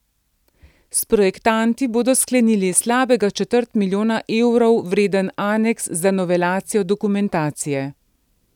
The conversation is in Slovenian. S projektanti bodo sklenili slabega četrt milijona evrov vreden aneks za novelacijo dokumentacije.